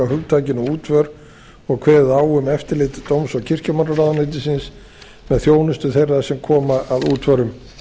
hugtakinu útför og kveðið á um eftirlit dóms og kirkjumálaráðuneytisins með þjónustu þeirra sem koma að útförum